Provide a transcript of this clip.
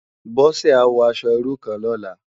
Bose á wò aṣò irú kán lòlá